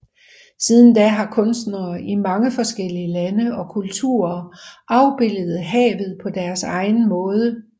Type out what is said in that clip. Siden da har kunstnere i mange forskellige lande og kulturer afbilledet havet på deres egen måde